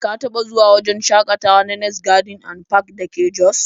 Ka taɓa zuwa wajen shakatawa na next garden and park da ke jos?